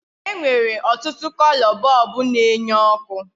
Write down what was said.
E nwere ọtụtụ kolo bọlbụ na enye oku